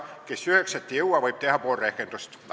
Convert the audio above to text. Kes üheksat ei jõua, võib pool rehkendust teha.